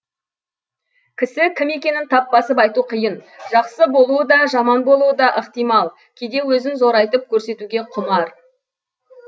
кісі кім екенін тап басып айту қиын жақсы болуы да жаман болуы да ықтимал кейде өзін зорайтып көрсетуге құмар